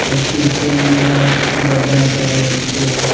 একটি চেনওলা ডজার দেখা যাচ্ছে।